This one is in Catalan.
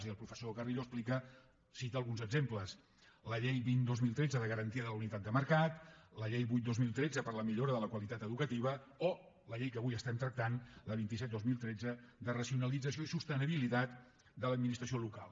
i el professor carrillo en cita alguns exemples la llei vint dos mil tretze de garantia de la unitat de mercat la llei vuit dos mil tretze per a la millora de la qualitat educativa o la llei que avui tractem la vint set dos mil tretze de racionalització i sostenibilitat de l’administració local